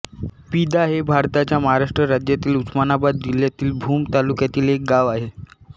पिदा हे भारताच्या महाराष्ट्र राज्यातील उस्मानाबाद जिल्ह्यातील भूम तालुक्यातील एक गाव आहे